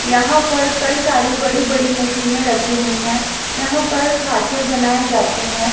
यहां पर कई सारी बड़ी बड़ी मशीनें रखी हुई हैं यहां पर खांचे बनाए जाते हैं।